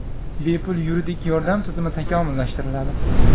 Bepul yuridik yordam tizimi takomillashtiriladi.